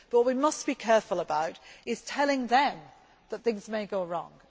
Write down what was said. secure. But what we must be careful about is telling them that things may go